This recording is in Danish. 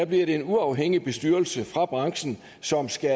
bliver det en uafhængig bestyrelse fra branchen som skal